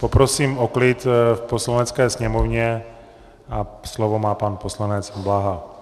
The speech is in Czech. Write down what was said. Poprosím o klid v Poslanecké sněmovně a slovo má pan poslanec Blaha.